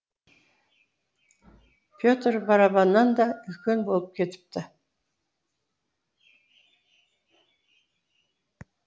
петер барабаннан да үлкен болып кетіпті